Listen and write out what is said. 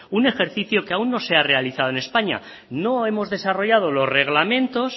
un ejercicio que aún no se ha realizado en españa no hemos desarrollado los reglamentos